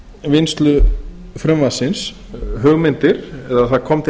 vinnslu frumvarpsins eða það kom til